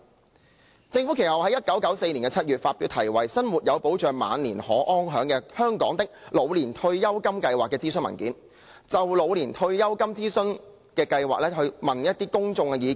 其後，政府在1994年7月發表題為《生活有保障、晚年可安享―香港的老年退休金計劃》諮詢文件，就老年退休金計劃徵詢公眾意見。